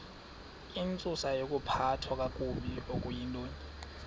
intsusayokuphathwa kakabi okuyintoni